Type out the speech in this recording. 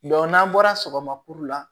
n'an bɔra sɔgɔma kuru la